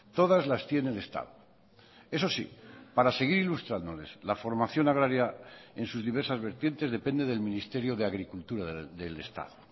todas las tiene el estado eso sí para seguir ilustrándoles la formación agraria en sus diversas vertientes depende del ministerio de agricultura del estado